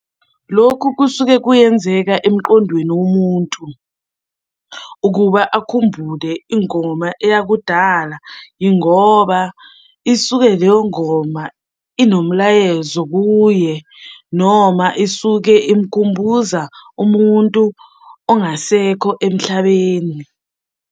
Lokhu kusuke kuyenzeka emqondweni womuntu, ukuba akhumbule ingoma eyakudala yingoba isuke leyo ngoma inomlayezo kuye, noma isuke imkhumbuza umuntu ongasekho emhlabeni.